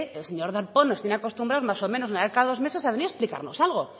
el señor darpón nos tiene acostumbrados más o menos una vez cada dos meses a venir a explicarnos algo